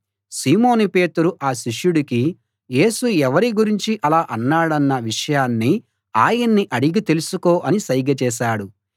సీమోను పేతురు ఆ శిష్యుడికి యేసు ఎవరి గురించి అలా అన్నాడన్న విషయాన్ని ఆయన్ని అడిగి తెలుసుకో అని సైగ చేశాడు